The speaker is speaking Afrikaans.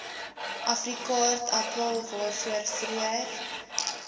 afrikaaartappel waarvoor vroeër